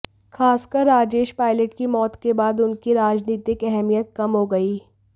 खासकर राजेश पायलट की मौत के बाद उनकी राजनीतिक अहमियत कम हो गई